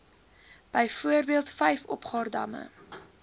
byvoorbeeld vyf opgaardamme